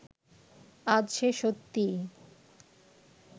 আজ সে সত্যিই